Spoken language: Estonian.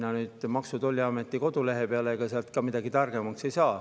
Kui minna Maksu‑ ja Tolliameti kodulehele, siis ega seal ka targemaks ei saa.